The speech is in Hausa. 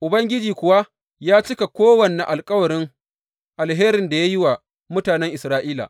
Ubangiji kuwa ya cika kowane alkawarin alherin da ya yi wa mutanen Isra’ila.